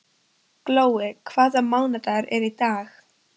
Glói, hvaða mánaðardagur er í dag?